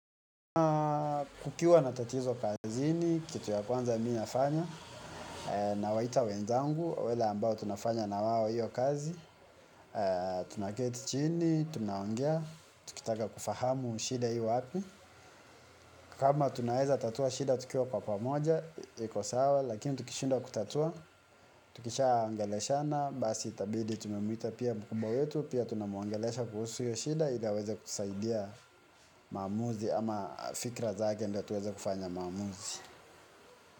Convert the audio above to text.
Kukiwa na tatizo kazini, kitu ya kwanza mimi nafanya, nawaita wenzangu, wale ambao tunafanya nawao hiyo kazi, tunaketi chini, tunaongea, tukitaka kufahamu shida iwapi. Kama tunaweza tatua shida, tukiwa kwa kwa moja, iko sawa, lakini tukishindwa kutatua, tukisha ongeleshana, basi itabidi tumemuita pia mkubwa wetu, pia tunamuongelesha kuhusu hiyo shida, ili aweze kusaidia maamuzi ama fikra zake ndo tuweze kufanya maamuzi.